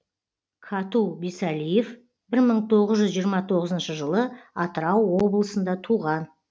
кату бисалиев бір мың тоғыз жүз жиырма тоғызыншы жылы атырау облысында туған